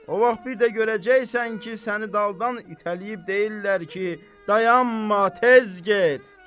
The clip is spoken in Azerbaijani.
O vaxt bir də görəcəksən ki, səni daldan itələyib deyirlər ki, dayanma, tez get!